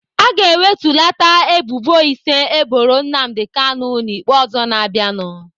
Aga ewetulata ebubo ise eboro Nnamdi Kanu n'ikpe ọzọ na-abịanụ.